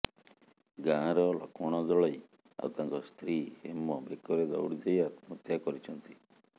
ଗାଁର ଲକ୍ଷ୍ମଣ ଦଳେଇ ଆଉ ତାଙ୍କ ସ୍ତ୍ରୀ ହେମ ବେକରେ ଦଉଡି ଦେଇ ଆତ୍ମହତ୍ୟା କରିଛନ୍ତି